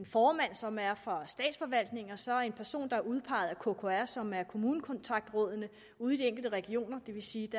som er fra statsforvaltningen og så en person der er udpeget af kkr som er kommunekontaktrådene ude i de enkelte regioner det vil sige